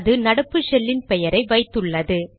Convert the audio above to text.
அது நடப்பு ஷெல்லின் பெயரை வைத்துள்ளது